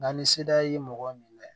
Nka ni seda ye mɔgɔ minɛ